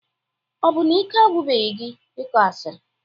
Ọ bụ na ike agwụbeghị gị ịkọ asịrị?